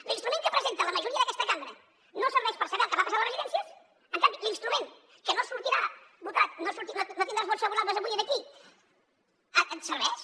l’instrument que presenta la majoria d’aquesta cambra no serveix per saber el que va passar a les residències en canvi l’instrument que no sortirà votat no tindrà els vots favorables avui aquí serveix